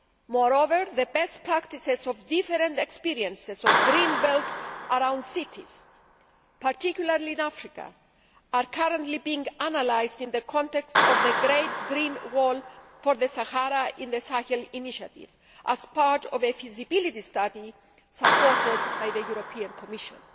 Moreover, the best practices of different experiences of green belts around cities, particularly in Africa, are currently being analysed in the context of the Great Green Wall for the Sahara and the Sahel' initiative as part of a feasibility study supported by the European Commission.